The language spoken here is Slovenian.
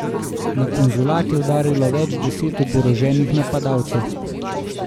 Na konzulat je udarilo več deset oboroženih napadalcev.